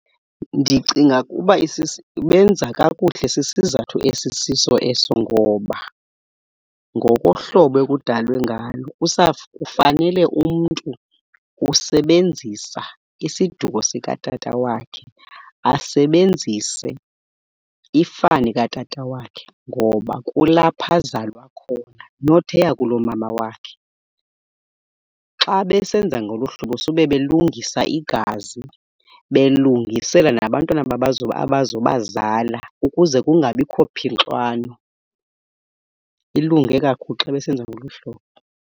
Ndicinga ukuba benza kakuhle, sisizathu esisiso eso. Ngoba ngokohlobo ekudalwe ngalo usapho, kufanele umntu usebenzisa isiduko sikatata wakhe, asebenzise ifani katata wakhe ngoba kulapho azalwa khona, not eyakulomama wakhe. Xa besenza ngolu hlobo sube belungisa igazi, belungisela nabantwana abazoba zala ukuze kungabikho phixwano. Ilunge kakhulu xa besenza ngolu hlobo.